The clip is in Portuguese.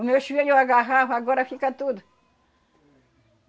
Os meus filhos eu agarrava, agora fica tudo.